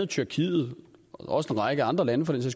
tyrkiet også en række andre lande for den